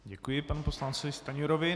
Děkuji panu poslanci Stanjurovi.